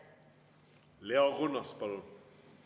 Leo Kunnas, palun!